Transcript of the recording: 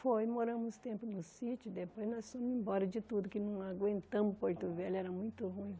Foi, moramos um tempo no sítio, depois nós fomos embora de tudo, que não aguentamos Porto Velho, era muito ruim.